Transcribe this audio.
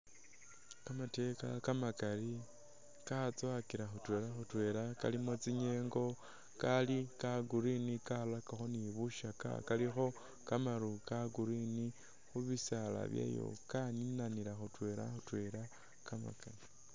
Kamateka kamakali katsowakila khutwela khutwela kalimo tsinyengo kali ka green karirakakho ni bisakya kalikho kamaru ka green khubisaala byayo kaninanila khutwela khutwela.